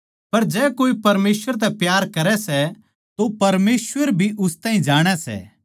पर जै कोए परमेसवर तै प्यार करै सै तो परमेसवर भी उस ताहीं जाणै सै